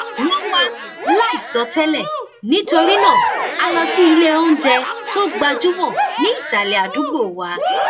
wón wá láìsọtẹlẹ nítorí náà a lọ síléoúnjẹ tó gbajúmọ ní ìsàlè àdúgbò wa